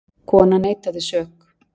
Konan neitaði sök.